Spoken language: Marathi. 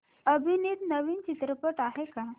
अभिनीत नवीन चित्रपट आहे का